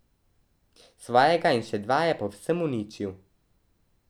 Svojega in še dva je povsem uničil.